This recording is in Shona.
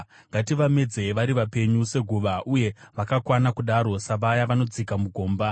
ngativamedzei vari vapenyu, seguva, uye vakakwana kudaro savaya vanodzika mugomba;